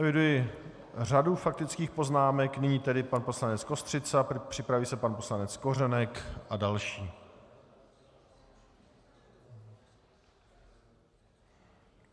Eviduji řadu faktických poznámek, nyní tedy pan poslanec Kostřica, připraví se pan poslanec Kořenek a další.